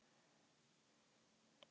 Hann elti Tóta um allan völl.